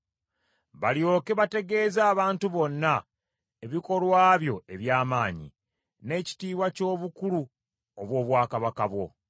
Balyoke bategeeze abantu bonna ebikolwa byo eby’amaanyi, n’ekitiibwa ky’obukulu obw’obwakabaka bwo.